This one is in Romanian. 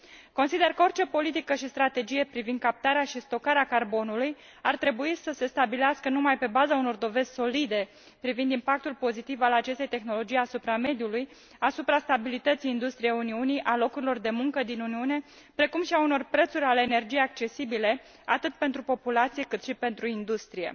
Consider că orice politică și strategie privind captarea și stocarea carbonului ar trebui să se stabilească numai pe baza unor dovezi solide privind impactul pozitiv al acestei tehnologii asupra mediului, asupra stabilității industriei Uniunii, a locurilor de muncă din Uniune, precum și a unor prețuri ale energiei accesibile atât pentru populație, cât și pentru industrie.